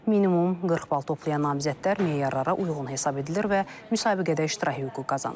Minimum 40 bal toplayan namizədlər meyarlara uyğun hesab edilir və müsabiqədə iştirak hüququ qazanır.